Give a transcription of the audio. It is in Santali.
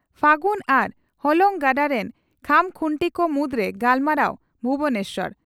ᱯᱷᱟᱹᱜᱩᱱ ᱟᱨ ᱦᱚᱞᱚᱝ ᱜᱟᱰᱟ ᱨᱤᱱ ᱠᱷᱟᱢᱠᱷᱩᱱᱴᱤ ᱠᱚ ᱢᱩᱫᱽᱨᱮ ᱜᱟᱞᱢᱟᱨᱟᱣ ᱵᱷᱩᱵᱚᱱᱮᱥᱚᱨ